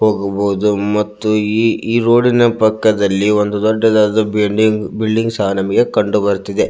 ಹೋಗಬಹುದು ಮತ್ತು ಈ ರೋಡಿನ ಪಕ್ಕದಲ್ಲಿ ಒಂದು ದೊಡ್ಡದಾದ ಬಿಲ್ಡಿಂಗ್ ಸಹ ನಮಗೆ ಕಂಡು ಬರುತ್ತಿದೆ.